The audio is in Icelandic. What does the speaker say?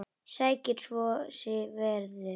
Sækir svo í sig veðrið.